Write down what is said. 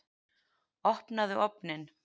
Opnaðu ofninn!